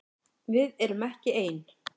Við erum ekki ein!